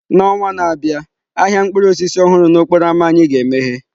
N'ọnwa na-abịa, ahịa mkpụrụ osisi ọhụrụ n'okporo ámá anyị ga-emeghe.